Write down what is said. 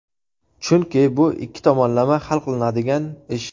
Chunki bu ikki tomonlama hal qilinadigan ish.